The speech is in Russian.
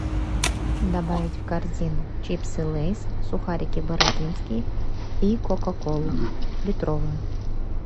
добавить в корзину чипсы лейс сухарики бородинские и кока колу литровую